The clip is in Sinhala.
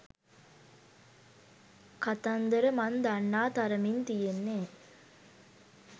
කතන්දර මං දන්නා තරමින් තියෙන්නේ